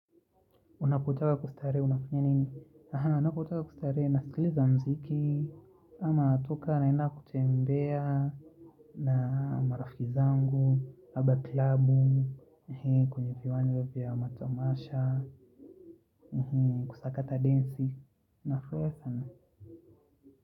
Unapotaka kustarehe, unafanya nini? Aha, ninapotaka kustarehe, nasikiliza muziki, ama natoka naenda kutembea, na marafiki zangu, aba klabu, kwenye viwanja vya matamasha, kusakata densi, nafanya sana.